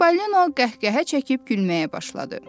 Çipəlinon qəhqəhə çəkib gülməyə başladı.